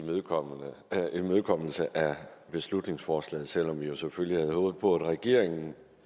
imødekommelse af beslutningsforslaget selv om vi jo selvfølgelig havde håbet på at regeringen